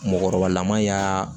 Mɔkɔrɔbalama y'a